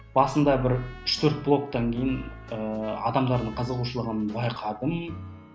басында бір үш төрт блогтан кейін ыыы адамдардың қызығушылығын байқадым